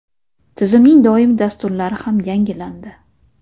Tizimning doimiy dasturlari ham yangilandi.